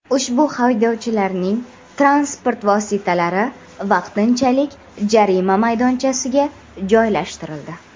Ushbu haydovchilarning transport vositalari vaqtinchalik jarima maydonchasiga joylashtirildi.